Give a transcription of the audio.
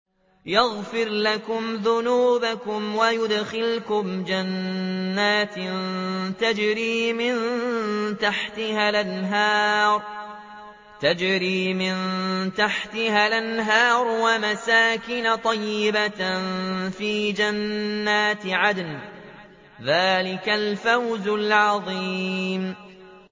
يَغْفِرْ لَكُمْ ذُنُوبَكُمْ وَيُدْخِلْكُمْ جَنَّاتٍ تَجْرِي مِن تَحْتِهَا الْأَنْهَارُ وَمَسَاكِنَ طَيِّبَةً فِي جَنَّاتِ عَدْنٍ ۚ ذَٰلِكَ الْفَوْزُ الْعَظِيمُ